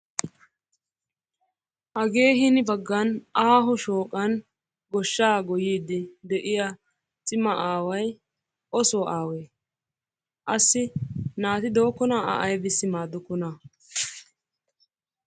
Hage hin baggan aaho shooqan goshsha goyyidi de'iyaa aaway o so aawe? Assi naatti dookona a aybbissi maadokona?